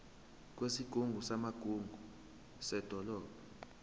kwesigungu samagugu sedolobha